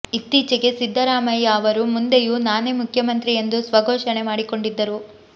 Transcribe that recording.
ಇತ್ತೀಚೆಗೆ ಸಿದ್ದರಾಮಯ್ಯ ಅವರು ಮುಂದೆಯೂ ನಾನೇ ಮುಖ್ಯಮಂತ್ರಿ ಎಂದು ಸ್ವಘೋಷಣೆ ಮಾಡಿಕೊಂಡಿದ್ದರು